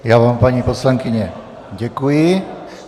Já vám, paní poslankyně, děkuji.